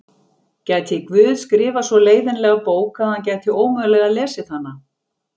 Gæti Guð skrifað svo leiðinlega bók að hann gæti ómögulega lesið hana?